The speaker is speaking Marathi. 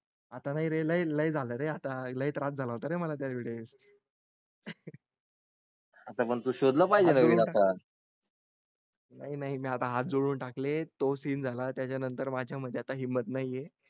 , आता नाही रे लई झाल रे आता लई त्रास झाला तर मला त्या वेळेस. आता पण तो शोधला पाहिजे नाही नाही आता हात जोडून टाकले तो सीन झाला. त्यानंतर माझ्या मध्ये आता हिंमत नाही.